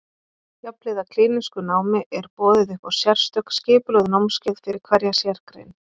Jafnhliða klínísku námi er boðið upp á sérstök skipulögð námskeið fyrir hverja sérgrein.